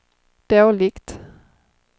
dåligt